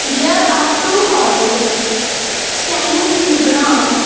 there are two autos standing in the ground.